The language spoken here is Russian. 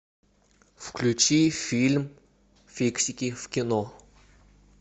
включи фильм фиксики в кино